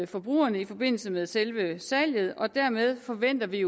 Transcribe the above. forbrugerne i forbindelse med selve salget og dermed forventer vi